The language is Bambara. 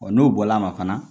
Ɔ n'o bɔra a ma fana